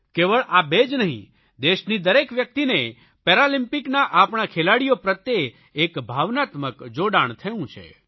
કેવળ આ બે જ નહીં દેશની દરેક વ્યકિતને પેરાલમ્પિકના આપણા ખેલાડીઓ પ્રત્યે એક ભાવનાત્મક જોડાણ થયું છે